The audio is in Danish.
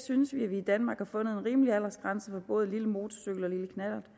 synes vi at vi i danmark har fundet en rimelig aldersgrænse for både lille motorcykel og lille knallert